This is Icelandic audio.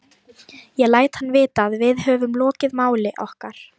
Ég læt hann vita, að við höfum lokið máli okkar.